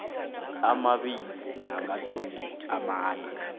amabili namatjhumi amane